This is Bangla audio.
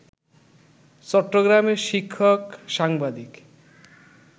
চট্টগ্রামের শিক্ষক, সাংবাদিক